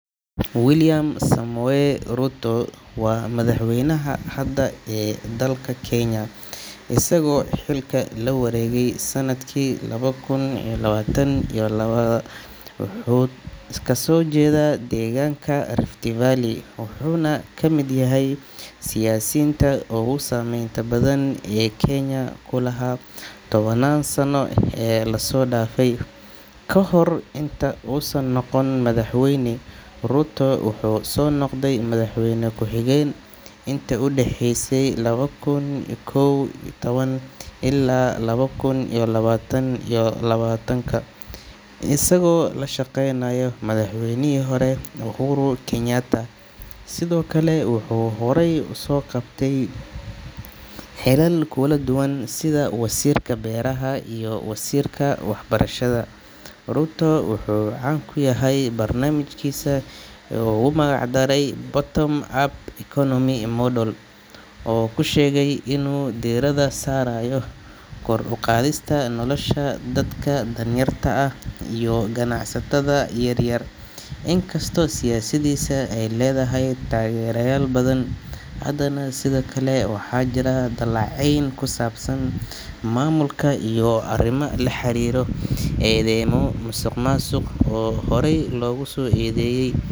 William Samoei Ruto waa madaxweynaha hadda ee dalka Kenya, isagoo xilka la wareegay sannadkii laba kun iyo labaatan iyo labaatanka. Ruto wuxuu kasoo jeedaa deegaanka Rift Valley, wuxuuna ka mid yahay siyaasiinta ugu saameynta badan ee Kenya ku lahaa tobannaan sano ee lasoo dhaafay. Ka hor inta uusan noqon madaxweyne, Ruto wuxuu soo noqday madaxweyne ku xigeen intii u dhaxeysay laba kun iyo kow iyo toban ilaa laba kun iyo labaatan iyo labaatanka, isagoo la shaqeynayay madaxweynihii hore Uhuru Kenyatta. Sidoo kale, wuxuu horay usoo qabtay xilal kala duwan sida wasiirka beeraha iyo wasiirka waxbarashada. Ruto wuxuu caan ku yahay barnaamijkiisa uu ugu magac daray Bottom-Up Economic Model oo uu ku sheegay inuu diiradda saarayo kor u qaadista nolosha dadka danyarta ah iyo ganacsatada yaryar. Inkastoo siyaasaddiisa ay leedahay taageerayaal badan, haddana sidoo kale waxaa jira dhaleeceyn ku saabsan maamulka iyo arrimo la xiriira eedaymo musuqmaasuq oo horey loogu soo eedeeyay.